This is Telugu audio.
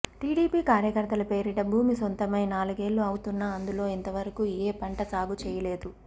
టీడీపీ కార్యకర్తల పేరిట భూమి సొంతమై నాలుగేళ్లు అవుతున్నా అందులో ఇంతవరకు ఏ పంట సాగు చేయలేదు